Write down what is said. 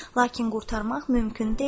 Lakin qurtarmaq mümkün deyildi.